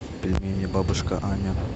пельмени бабушка аня